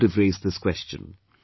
None could have raised this question